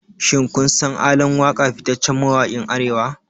Shin kun san ALAN WAKA fitaccen mawakin Arewa?